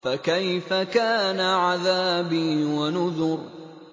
فَكَيْفَ كَانَ عَذَابِي وَنُذُرِ